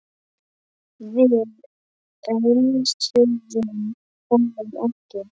Við önsuðum honum ekki.